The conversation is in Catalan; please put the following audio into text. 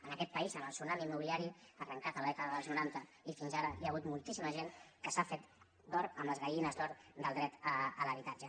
en aquest país en el tsunami immobiliari arrencat a la dècada dels noranta i fins ara hi ha hagut moltíssima gent que s’ha fet d’or amb les gallines d’or del dret a l’habitatge